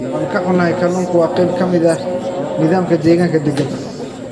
Waan ka xunahay, kalluunka waa qayb ka mid ah nidaamka deegaanka deggan.